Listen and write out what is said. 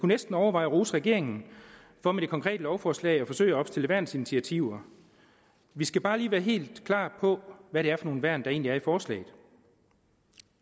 næsten overveje at rose regeringen for med det konkrete lovforslag at forsøge at opstille værnsinitiativer vi skal bare lige være helt klar over hvad det er for nogle værn der egentlig er i forslaget